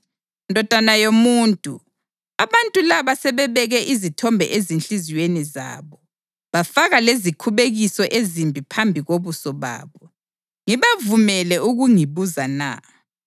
“Ndodana yomuntu, abantu laba sebebeke izithombe ezinhliziyweni zabo, bafaka lezikhubekiso ezimbi phambi kobuso babo. Ngibavumele ukungibuza na?